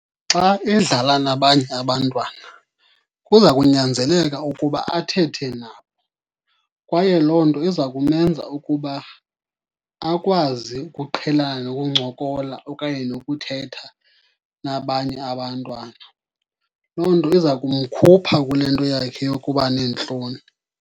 Xa edlala nabanye abantwana kuza kunyanzeleka ukuba athethe nabo, kwaye loo nto iza kumenza ukuba akwazi ukuqhelana nokuncokola okanye nokuthetha nabanye abantwana. Loo nto iza kumkhupha kule nto yakhe yokuba neentloni.